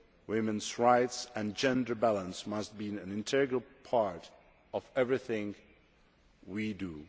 Women's rights and gender balance must be an integral part of everything we do.